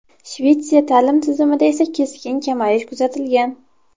Shvetsiya ta’lim tizimida esa keskin kamayish kuzatilgan.